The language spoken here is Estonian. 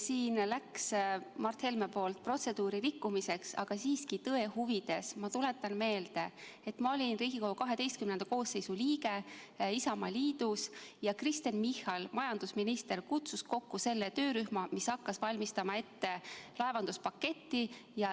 Siin läks Mart Helme poolt protseduuri rikkumiseks, aga tõe huvides ma tuletan meelde, et ma olin Riigikogu XI koosseisu liige Isamaaliidus ja Kristen Michal, majandusminister, kutsus kokku töörühma, kes hakkas ette valmistama laevanduspaketti.